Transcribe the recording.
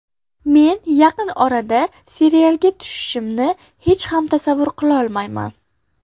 Men yaqin orada serialga tushishimni hech ham tasavvur qilolmayman.